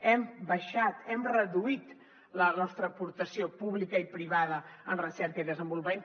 hem baixat hem reduït la nostra aportació pública i privada en recerca i desenvolupament